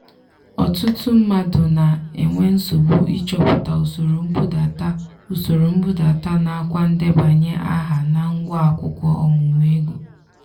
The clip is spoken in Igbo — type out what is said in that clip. ọtụtụ mmadụ na-enwe nsogbu ịchọpụta usoro nbudata usoro nbudata nakwa ndebanye aha na ngwa akwụkwọ ọmụmụ ego.